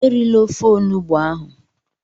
Erila ofe Onugbu ahụ!